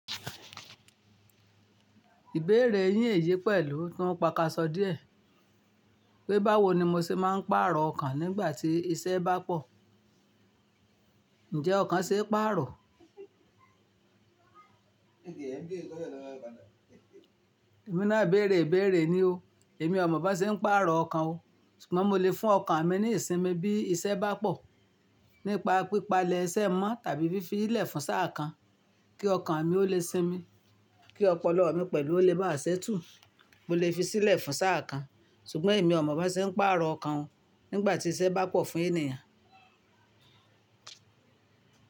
Ìbéèrè yín èyí pẹ̀lú tún paka sọ díẹ̀. Pé báwo ni mo ṣe máa ń pààrọ̀ ọkàn nígbà tí iṣẹ́ bá pọ̀? Ǹjẹ́ ọkàn ṣe é pààrọ̀? Èmi náà béèrè béèrè ni o, èmi ò mọ̀ bó ṣe ń pààrọ̀ ọkàn o. Ṣùgbọ́n mo lè fún ọkàn mi ní ìsinmi bí iṣẹ́ bá pọ̀ nípa pípa lẹ́sẹ̀ mọ́ tàbí fífi í lè fún sáà kan kí ọkàn mi ó lè sinmi, kí ọpọlọ mi pẹ̀lú ó lè má ṣétù. Mo lè fi sílẹ̀ fún sáà kan. Ṣùgbọ́n èmi ò mọ̀ bó ṣe ń pààrọ̀ ọkàn o nígbà tí iṣẹ́ bá pọ̀ fún ènìyàn.